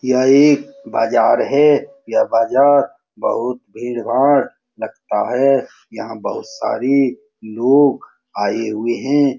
यह एक बाजार है यह बाजार बहुत भीड़-भाड़ लगता है यहाँ बहुत सारी लोग आए हुए है।